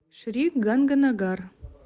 шри ганганагар